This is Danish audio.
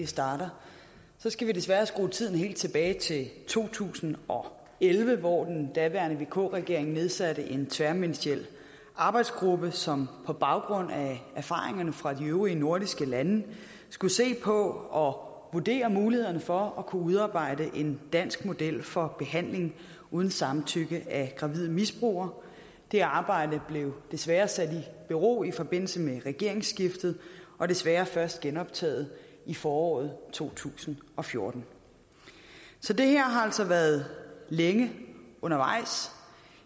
starter helt tilbage i to tusind og elleve hvor den daværende vk regering nedsatte en tværministeriel arbejdsgruppe som på baggrund af erfaringerne fra de øvrige nordiske lande skulle se på og vurdere mulighederne for at kunne udarbejde en dansk model for behandling uden samtykke af gravide misbrugere det arbejde blev desværre sat i bero i forbindelse med regeringsskiftet og desværre først genoptaget i foråret to tusind og fjorten så det her har altså været længe undervejs